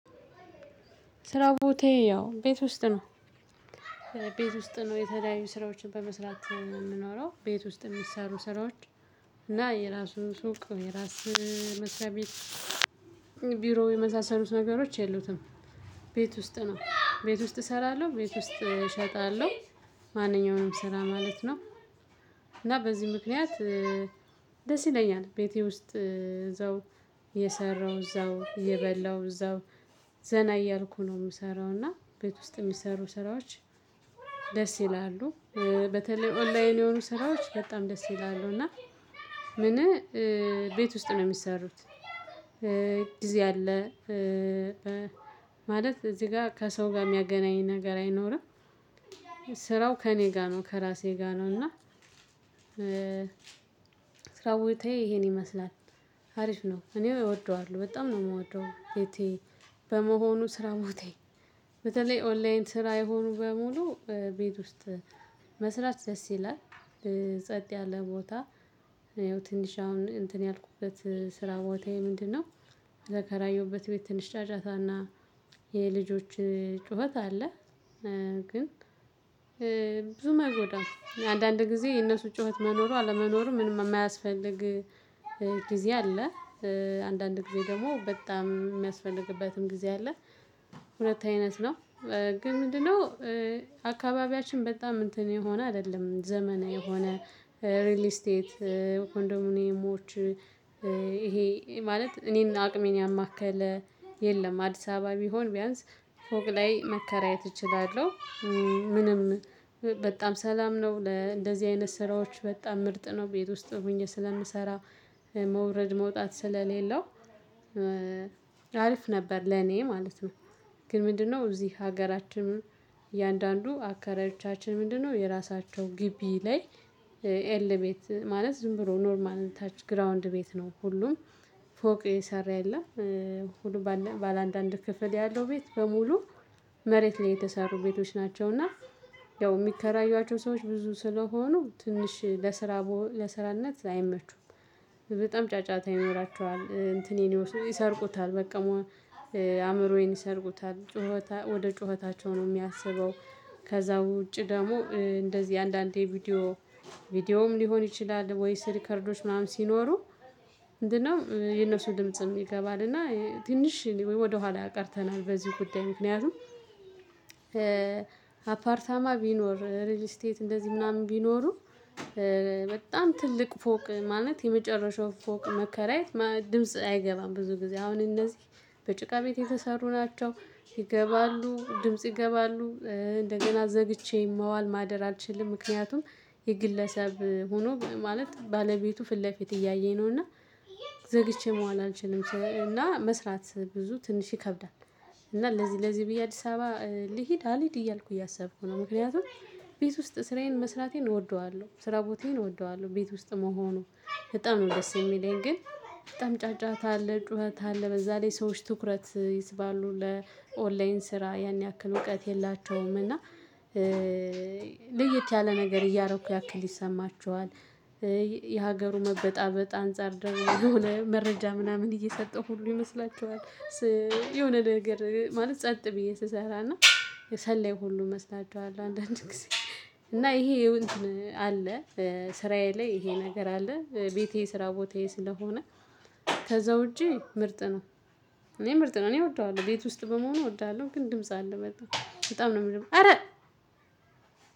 ስራው ቦታዬ ያው ቤት ውስጥ ነው። ቤት ውስጥ ነው የተለያዩ ስራዎችን በመስራት የምንኖረው ቤት ውስጥ የሚሰሩ ስራዎች እና የራሱ ሱቅ የራስ መስሪያ ቤት የመሳሰሉት ነገሮች የሉትም። ቤት ውስጥ ነው ቤት ውስጥ እሰራለሁ ቤት ውስጥ እሸጣለሁ ማንኛውንም ስራ ማለት ነው። እና በዚህ ምክንያት ደስ ይለኛል ቤቴ ውስጥ እዛው እየሰራው እዛው እየበላው እዛው ዘና እያልኩ ነው የምሰራው። እና ቤት ውስጥ የሚሰሩ ስራዎች ደስ ይላሉ በተለይ ኦንላይን የሆኑ ስራዎች በጣም ደስ ይላሉ። እና ምን ቤት ውስጥ ነው የሚሰሩት? አለ ማለት እዚህ ጋር ከሰው ጋር የሚያገናኝ ነገር አይኖርም። ስራው ከእኔ ጋር ነው ከራሴ ጋር ነው። እና ስራው ቦታዬ ይሄን ይመስላል። አሪፍ ነው እኔው እወደዋለሁ በጣም ነው የምወደው። ቤቴ በመሆኑ ስራ ቦታዬ በተለይ ኦንላይን ስራ የሆኑ በሙሉ ቤት ውስጥ መስራት ደስ ይላል። ጸጥ ያለ ቦታ ትንሽ አሁን እንትን ያልኩበት ስራ ቦታዬ ምንድነው? የተከራየሁበት ቤት ትንሽ ጫጫታና የልጆች ጩኸት አለ። ግን ብዙ አይጎዳም አንዳንድ ጊዜ የነሱ ጩኸት መኖሩ አለመኖሩ ምንም የማያስፈልግ ጊዜ አለ። አንዳንድ ጊዜ ደግሞ በጣም የሚያስፈልግበትም ጊዜ አለ አይነት ነው። ግን ምንድነው? አካባቢያችን በጣም እንትን የሆነ አይደለም ዘመነዊ የሆነ ሪል ስቴት ኮንዶሞኒየሞች ይሄ ማለት እኔን አቅሜን ያማከለ የለም። አዲስ አበባ ቢሆን ቢያንስ ፎቅ ላይ መከራየት እችላለሁ። ምንም በጣም ሰላም ነው ለእንደዚህ አይነት ስራዎች በጣም ምርጥ ነው። ቤት ውስጥ ሆኜ ስለምሰራ መውረድ መውጣት ስለሌለው አርፍ ነበር ለኔ ማለት ነው። ግን ምንድነው እዚህ ሀገራችንም እያንዳንዱ አከራዮቻችን ምንድነው? የራሳቸው ግቢ ላይ ኤል ቤት ማለት ዝም ብሎ ኖርማል ታች ግራውንድ ቤት ነው። ሁሉም ፎቅ የሰራ የለም። ሁሉ ባለ አንድ አንድ ክፍል ያለው ቤት በሙሉ መሬት ላይ የተሰሩ ቤቶች ናቸው። እና ያው የሚከራዩዋቸው ሰዎች ብዙ ስለሆኑ ትንሽ ለስራ ለስራነት አይመቹም። በጣም ጫጫታ ይኖራቸዋል እንትኔን ይሰርቁታል በቃ አእምሮዬን ይሰርቁታል ጩኸት ወደ ጩኸታቸው ነው የሚያስበው። ከዛ ውጪ ደግሞ እንደዚህ አንዳንዴ ቪዲዮ ቪዲዮም ሊሆን ይችላል። ወይስ ሪከርዶች ምናምን ሲኖሩ ምንድነው የነሱ ድምጽም ይገባል እና ትንሽ ወደኋላ ቀርተናል በዚህ ጉዳይ ምክንያቱም። አፓርታማ ቢኖር ሪል ስቴት እንደዚህ ምናምን ቢኖሩ በጣም ትልቅ ፎቅ ማለት የመጨረሻው ፎቅ መከራየት ድምጽ አይገባም ብዙ ጊዜ አሁን እነዚህ በጭቃ ቤት የተሰሩ ናቸው። ይገባሉ ድምጽ ይገባሉ እንደገና ዘግቼኝ መዋል ማደር አልችልም። ምክንያቱም የግለሰብ ሆኖ ማለት ባለቤቱ ፊት ለፊት እያየኝ ነው። እና ዘግቼ መዋን አልችልም እና መስራት ብዙ ትንሽ ይከብዳል። እና ለዚህ ለዚህ ብዬ አዲስ አበባ ልሂድ አልሂድ እያልኩ እያሰብኩ ነው። ምክንያቱም ቤት ውስጥ ስራዬን መስራቴን እወደዋለሁ ስራ ቦታዬን እወደዋለሁ ቤት ውስጥ መሆኑ በጣም ነው ደስ የሚለኝ። ግን በጣም ጫጫታ አለ ጩኸት አለ በዛ ላይ ሰዎች ትኩረት ይስባሉ ለኦንላይን ስራ ያን ያክል እውቀት የላቸውም። እና ልየት ያለ ነገር እያደረኩ ያክል ይሰማቸዋል። የሀገሩ መበጣበጥ አንፃር ደግሞ የሆነ መረጃ ምናምን እየሰጠሁ ሁሉ ይመስላችኋል። የሆነ ነገር ማለት ጸጥ ብዬ ስሰራና ሰላይ ሁሉ እመስላቸኋለሁ። አንዳንዴ ጊዜ እና ይሄ እንትን አለ። ስራዬ ላይ ይሄ ነገር አለ ቤቴ ስራ ቦታዬ ስለሆነ ከዛ ውጪ ምርጥ ነው። እኔ ምርጥ ነው እኔ እወደዋለሁ ቤት ውስጥ በመሆኑ እወደዋለሁ። ግን ድምጽ አለ በጣም በጣም ነው የምልህ። አረ